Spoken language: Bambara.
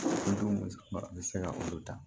bɛ se ka olu ta